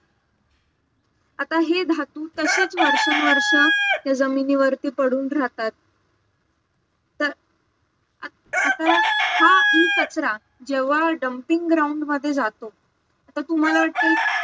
आता हे धातू तसेच वर्षनुवर्षं ते जमिनीवरती पडून राहतात तर आता हा E कचरा जेव्हा dumping ground मध्ये जातो तर तुम्हाला वाटते